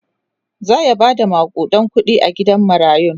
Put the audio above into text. zaya Bada makudan kuɗi a gidan marayun